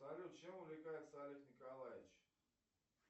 салют чем увлекается олег николаевич